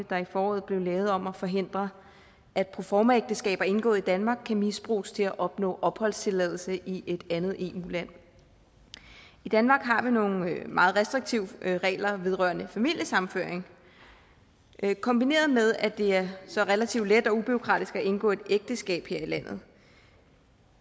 der i foråret blev lavet om at forhindre at proformaægteskaber indgået i danmark kan misbruges til at opnå opholdstilladelse i et andet eu land i danmark har vi nogle meget restriktive regler vedrørende familiesammenføring kombineret med at det er så relativt let og ubureaukratisk at indgå et ægteskab her i landet